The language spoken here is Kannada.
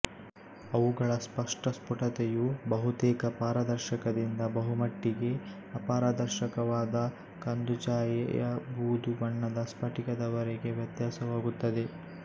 ಅವುಗಳ ಸ್ಪಷ್ಟಸ್ಫುಟತೆಯು ಬಹುತೇಕ ಪಾರದರ್ಶಕದಿಂದ ಬಹುಮಟ್ಟಿಗೆ ಅಪಾರದರ್ಶಕವಾದ ಕಂದುಛಾಯೆಯಬೂದುಬಣ್ಣದ ಸ್ಫಟಿಕದವರೆಗೆ ವ್ಯತ್ಯಾಸವಾಗುತ್ತದೆ